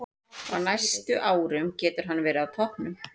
Á næstu árum getur hann verið á toppnum.